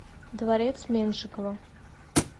дворец меншикова